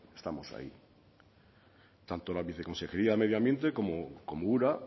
estamos ahí tanto la viceconsejería de medio ambiente como ura